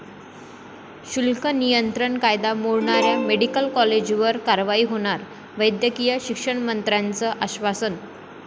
शुल्क नियंत्रण कायदा मोडणाऱ्या मेडिकल कॉलेजवर कारवाई होणार, वैद्यकीय शिक्षणमंत्र्यांचं आश्वासन